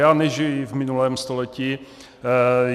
Já nežiji v minulém století.